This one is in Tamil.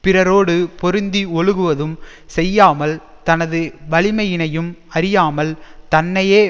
பிறரோடு பொருந்தி ஒழுகுவதும் செய்யாமல் தனது வலிமையினையும் அறியாமல் தன்னையே